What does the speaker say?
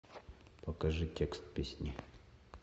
покажи текст песни